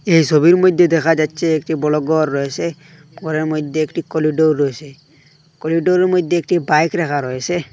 এই সবির মইধ্যে দেখা যাচ্ছে একটি বড় গর রয়েছে গরের মধ্যে একটি করিডোর রয়েসে করিডোরের মইধ্যে একটি বাইক রাখা রইসে।